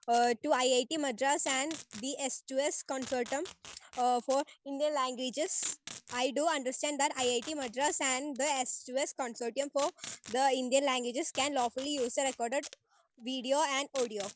Speaker 1 to it Madras and the S 2 S consortium for Indian languages. I do understand that it Madras and the S two S consortium for Indian languages can lawfully use the record video and audio.